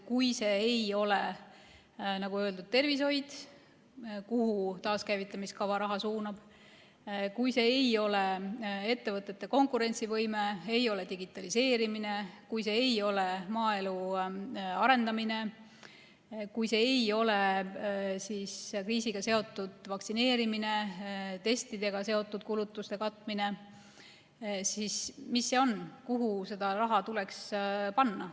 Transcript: Kui see ei ole, nagu öeldud, tervishoid, kuhu taaskäivitamiskava raha suunata, ja kui see ei ole ettevõtete konkurentsivõime, kui see ei ole digitaliseerimine, kui see ei ole maaelu arendamine, kui see ei ole kriisiga seotud vaktsineerimine, testidega seotud kulutuste katmine, siis mis see on, kuhu see raha tuleks panna?